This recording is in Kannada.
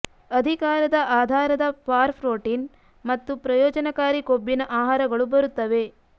ಅಧಿಕಾರದ ಆಧಾರದ ಫಾರ್ ಪ್ರೋಟೀನ್ ಮತ್ತು ಪ್ರಯೋಜನಕಾರಿ ಕೊಬ್ಬಿನ ಆಹಾರಗಳು ಬರುತ್ತವೆ